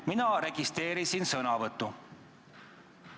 Mina registreerisin sõnavõtu.